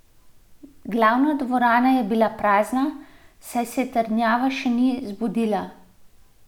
Glavna dvorana je bila prazna, saj se trdnjava še ni zbudila.